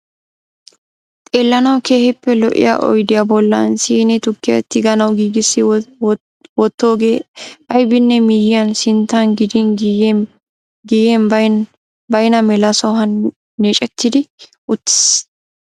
Xeellanawu keehippe lo'iya oydiya bollan siinee tukkiya tiganawu giigissi wottoogee aybinne miyyiyan, sinttan gidin giyyen baynna mela sohuwan neecettidi uttiis.